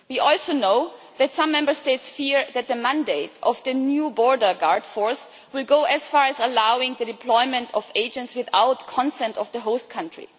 We also know that some Member States fear that the mandate of the new border guard force will go as far as allowing the deployment of agents without the consent of the host country.